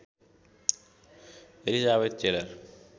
Elizabeth Taylor